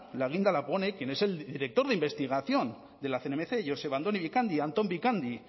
la guinda la pone quien es el director de investigación de cnmc joseba andoni bikandi anton bikandi